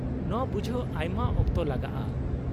-ᱱᱚᱶᱟ ᱵᱩᱡᱷᱟᱹᱣ ᱟᱭᱢᱟ ᱚᱠᱛᱚ ᱞᱟᱜᱟᱜᱼᱟ ᱾